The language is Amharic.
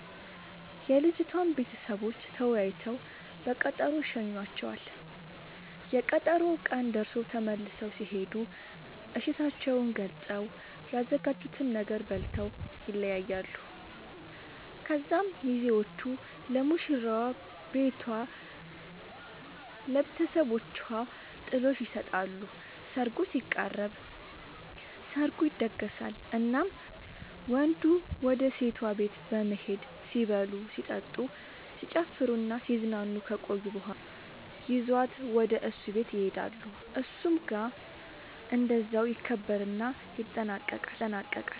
የልጅቷም ቤተሰቦች ተወያይተው በቀጠሮ ይሸኙዋቸዋል፤ የቀጠሮው ቀን ደርሶ ተመልሰው ሲሄዱ እሽታቸውን ገልፀው፤ ያዘጋጁትን ነገር በልተው ይለያያሉ። ከዚያ ሚዜዎቹ ለሙሽራዋ ቤቷ ለብተሰቦቿ ጥሎሽ ይሰጣሉ ሰርጉ ሲቃረብ፤ ሰርጉ ይደገሳል እናም ወንዱ ወደ ሴቷ ቤት በመሄድ ሲበሉ ሲጠጡ፣ ሲጨፍሩናሲዝናኑ ከቆዩ በኋላ ይዟት ወደ እሱ ቤት ይሄዳሉ እሱም ጋር እንደዛው ይከበርና ይጠናቀቃል